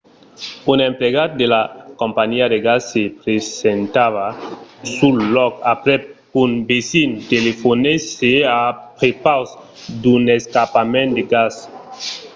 un emplegat de la companhiá de gas se presentava sul lòc aprèp qu’un vesin telefonèsse a prepaus d’un escapament de gas